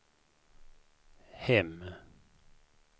hem